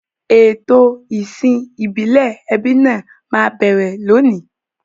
Ètò ìsìn ìbílẹ̀ ẹbí náà máa bẹ̀rẹ̀ lónìí.